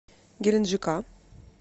геленджика